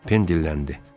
Pen dilləndi.